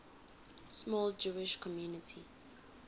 small jewish community